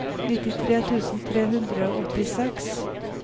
nittitre tusen tre hundre og åttiseks